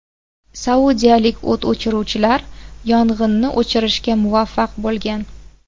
Saudiyalik o‘t o‘chiruvchilar yong‘inni o‘chirishga muvaffaq bo‘lgan.